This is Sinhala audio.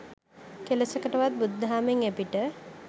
කෙලෙසකවත් බුදුදහමෙන් එපිට